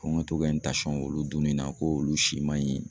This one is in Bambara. Ko n ka to ka n tansɔn olu dunni na k'olu si man ɲi